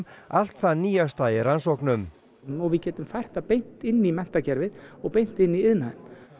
allt það nýjasta í rannsóknum og við getum fært það beint inn í menntakerfið og beint inn í iðnaðinn